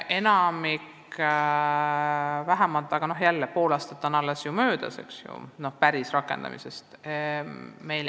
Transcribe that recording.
Aga jälle, ainult pool aastat on ju möödas seaduse rakendamisest.